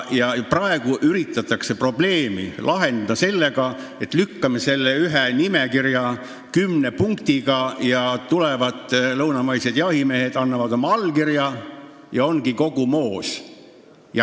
Praegu üritatakse probleemi lahendada sellega, et lükkame ette selle ühe nimekirja kümne punktiga, lõunamaised jahimehed annavad oma allkirja ja ongi kogu moos.